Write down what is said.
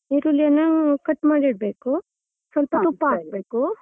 ನೀರುಳ್ಳಿಯನ್ನು cut ಮಾಡಿ ಇಡ್ಬೇಕು ಸ್ವಲ್ಪ ತುಪ್ಪ ಹಾಕ್ಬೇಕು.